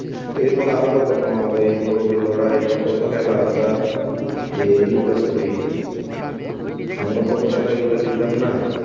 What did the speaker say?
এরপর আরো কত, ম~ ওই মোরগের লড়াই, কত খেলা, আমরা এ লুকাচুরি, আমরা কত খালা এইগুলা খেলতাম না?